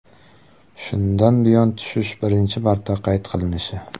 Shundan buyon tushish birinchi marta qayd qilinishi.